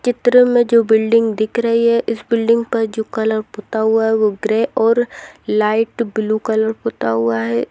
इस चित्र मे जो बिल्डिंग दिख रही है इस बिल्डिंग पर जो कलर पुता हुआ है वो ग्रे और लाइट ब्लू कलर पुता हुआ है।